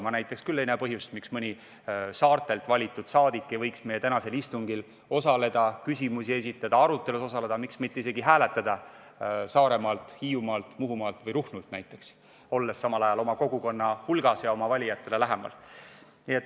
Ma ei näe põhjust, miks mõni saartelt valitud saadik ei võiks meie tänasel istungil osaleda, küsimusi esitada, arutelust osa võtta ja miks mitte isegi hääletada Saaremaalt, Hiiumaalt, Muhumaalt või Ruhnult, olles samal ajal oma kogukonna hulgas ja oma valijatele lähemal.